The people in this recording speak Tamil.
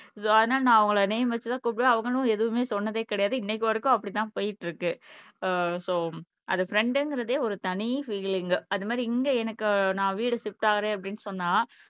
ஆனா நான் அவங்கள் நேம் வெச்சி கூப்பிடுவேன் அவங்களும் எதுவுமே சொன்னதே கிடையாது இன்னைக்கு வரைக்கும் அப்படித்தான் போயிட்டு இருக்கு ஆஹ் சோ அது ஃப்ரண்ட்ங்கறதே ஒரு தனி பீலிங் அதுமாரி இங்க எனக்கு நான் வீடு ஷிப்ட் ஆகுறேன் அப்படின்னு சொன்னா